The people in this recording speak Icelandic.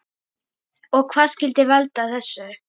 Og hvað skyldi valda þessu?